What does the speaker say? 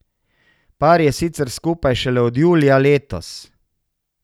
Par je sicer skupaj šele od julija letos.